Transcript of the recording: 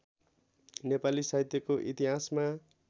नेपाली साहित्यको इतिहासमा